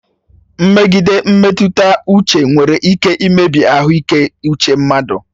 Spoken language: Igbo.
Mmegide mmetụta uche nwere ike imebi ahụike nke uche mmadụ.